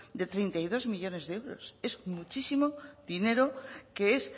de treinta y dos millónes de euros es muchísimo dinero que es